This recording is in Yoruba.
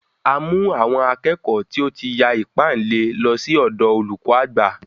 A mú àwọn akẹ́kọ̀ọ́ tí ó ti ya ìpáǹle, lọ sí ọ̀dọ olùkọ àgbà.